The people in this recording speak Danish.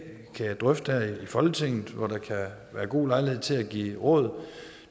kan drøfte her i folketinget hvor der kan være god lejlighed til at give råd